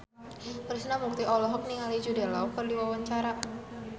Krishna Mukti olohok ningali Jude Law keur diwawancara